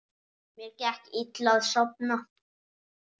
Mér gekk illa að sofna.